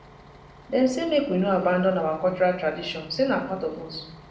dem say make we no abandon our cultural tradition sey na part of us